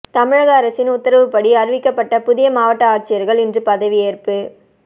தமிழக அரசின் உத்தரவுப்படி அறிவிக்கப்பட்ட புதிய மாவட்ட ஆட்சியர்கள் இன்று பதவியேற்பு